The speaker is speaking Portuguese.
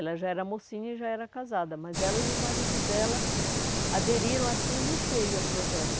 Ela já era mocinha e já era casada, mas ela e o marido dela aderiram assim e encheu o projeto.